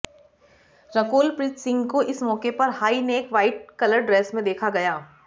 रकुल प्रीत सिंह को इस मौके पर high neck white colour dress में देखा गया